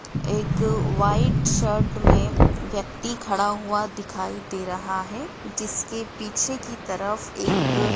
एक white shirt में व्यक्ति खड़ा हुआ दिखाई दे रहा है जिसके पीछे की तरफ एक--